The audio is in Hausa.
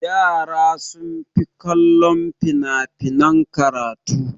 Yara sun fi kallon fina-finan karatu.